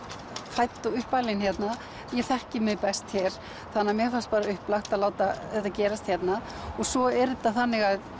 fædd og uppalin hérna ég þekki mig best hér þannig að mér fannst upplagt að láta þetta gerast hérna svo er þetta þannig